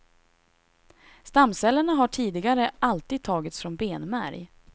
Stamcellerna har tidigare alltid tagits från benmärg.